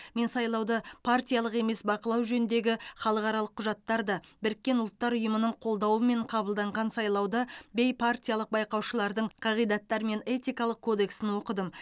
мен сайлауды партиялық емес бақылау жөніндегі халықаралық құжаттарды біріккен ұлттар ұйымының қолдауымен қабылданған сайлауды бейпартиялық байқаушылардың қағидаттары мен этикалық кодексін оқыдым